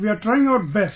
We are trying our best